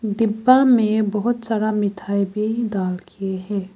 डिब्बा में बहुत सारा मिठाई भी डाल के है।